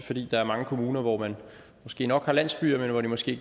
fordi der er mange kommuner hvor man måske nok har landsbyer men hvor de måske